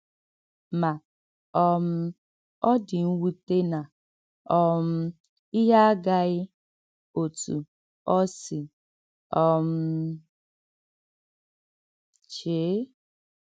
Mà, um ọ dị̀ mwùtè nà um íhè agàghị̀ òtú ọ sị̀ um chèe.